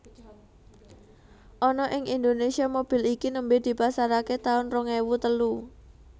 Ana ing Indonésia mobil iki nembe dipasarake taun rong ewu telu